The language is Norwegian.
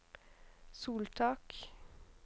soltak